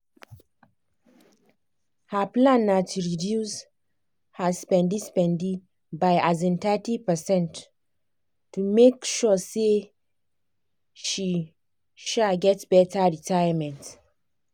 her plan na to reduce her spendi-spendi by um thirty percent to make sure say she um get better retayament.